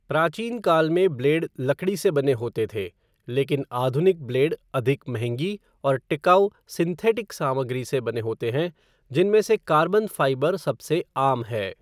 प्राचीनकाल में ब्लेड लकड़ी से बने होते थे, लेकिन आधुनिक ब्लेड अधिक महंगी और टिकाऊ सिंथेटिक सामग्री से बने होते हैं, जिनमें से कार्बन फ़ाइबर सबसे आम है।